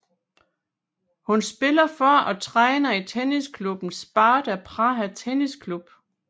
Hun spiller for og træner i tennisklubben Sparta Praha Tennis Club